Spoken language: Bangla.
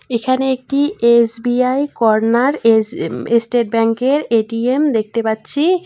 এখানে একটি এস_বি_আই কর্নার এস এস্টেট ব্যাংকের এ_টি_এম দেখতে পাচ্ছি।